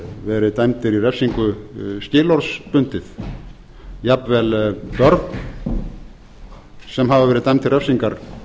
verið dæmdir í refsingu skilorðsbundið jafnvel börn sem hafa verið dæmd til refsingar